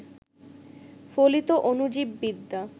ফলিত অণুজীববিদ্যা